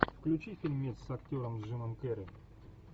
включи фильмец с актером джимом керри